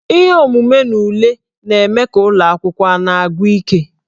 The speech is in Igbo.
Ihe omume na ule na-eme ka ụlọ akwụkwọ a na-agwụ ike.